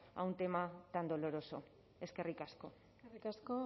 a un tema tan doloroso eskerrik asko eskerrik asko